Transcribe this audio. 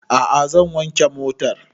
A'a zan wanke motan